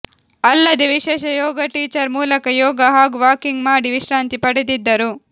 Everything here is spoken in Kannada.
ಅಲ್ಲದೆ ವಿಶೇಷ ಯೋಗ ಟೀಚರ್ ಮೂಲಕ ಯೋಗ ಹಾಗೂ ವಾಕಿಂಗ್ ಮಾಡಿ ವಿಶ್ರಾಂತಿ ಪಡೆದಿದ್ದರು